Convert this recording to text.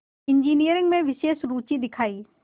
engineering में विशेष रुचि दिखाई